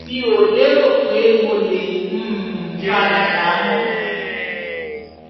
mi ò lérò pé mo lè um fara dà á mọ́